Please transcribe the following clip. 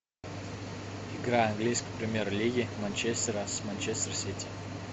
игра английской премьер лиги манчестера с манчестер сити